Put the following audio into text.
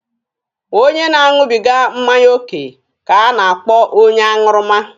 Onye na-aṅụbịga mmanya oke ka a na-akpọ onye aṅụrụma.